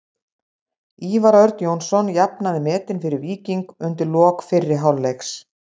Ívar Örn Jónsson jafnaði metin fyrir Víking undir lok fyrri hálfleiks.